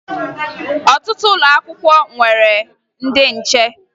Ọtụtụ ụlọ akwụkwọ nwere ndị nche